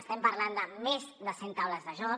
estem parlant de més de cent taules de joc